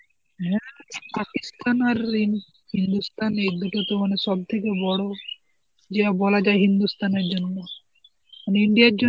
এমনিতে তো মানে সব থেকে বড় যে বলা যায় হিন্দুস্থান এর জন্য মানে India এর জন্য সব থেকে বড়